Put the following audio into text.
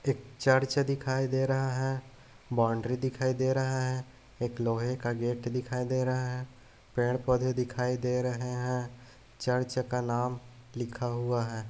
एक चर्च दिखाई दे रहा है बाउंड्री दिखाई दे रहा है एक लोहे का गेट दिखाई दे रहा है पेड़-पौधे दिखाई दे रहे हैं चर्च का नाम लिखा हुआ है।